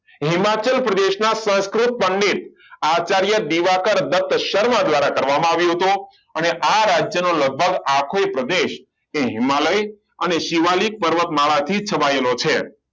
હિમાચલ પ્રદેશના સંસ્કૃત પંડિત આચાર્ય દીવાકર દત્ત શર્મા દ્વારા કરવામાં આવ્યું હતું અને આ રાજ્યનો લગભગ આખો પ્રદેશ એ હિમાલય અને શિવાલિક પર્વતમાળાથી છવાયેલો છે